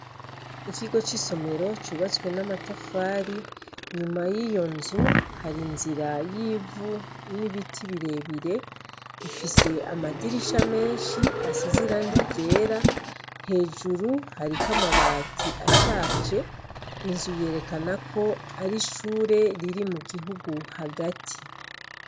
Ikigo c'isomero cubatswe n'amatafari, inyuma y'iyo nzu hari inzira y'ivu n'ibiti birebire, ifise amadirisha menshi asize irangi ryera hejuru hariko amabati ashaje, inzu yerekana ko ari ishure riri mu gihugu hagati.